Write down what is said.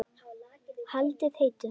Haldið heitu.